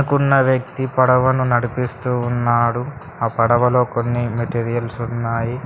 కున్న వ్యక్తి పడవను నడిపిస్తూ ఉన్నాడు ఆ పడవలో కొన్ని మెటీరియల్స్ ఉన్నాయి.